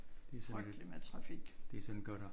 Frygteligt med trafik